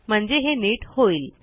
म्हणजे हे नीट होईल